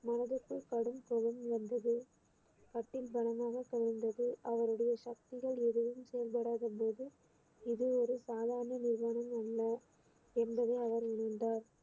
மனதிற்குள் கடும் கோபம் வந்தது கட்டில் பலமாக கவிழ்ந்தது அவருடைய சக்திகள் எதையும் செயல்படாத போது இது ஒரு சாதாரண அல்ல என்பதை அவர் உணர்ந்தார்